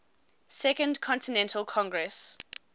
second continental congress